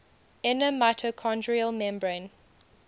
inner mitochondrial membrane